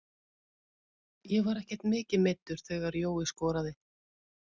Ég var ekkert mikið meiddur þegar Jói skoraði.